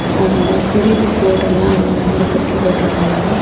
அஅஅ குருவி கூடெல்லா அங்க மேல தூக்கி போட்டுருக்காங்க.